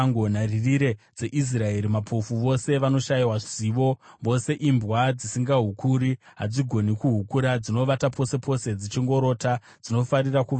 Nharirire dzeIsraeri mapofu, vose vanoshayiwa zivo; vose imbwa dzisingahukuri, hadzigoni kuhukura; dzinovata pose pose dzichingorota, dzinofarira kuvata.